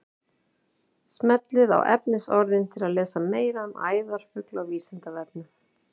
Smellið á efnisorðin til að lesa meira um æðarfugla á Vísindavefnum.